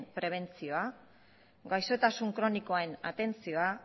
prebentzioa gaixotasun kronikoen atentzioa